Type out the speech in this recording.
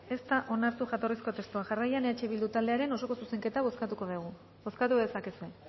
ez da onartu jatorrizko testua jarraian eh bildu taldearen osoko zuzenketa bozkatuko dugu bozkatu dezakezue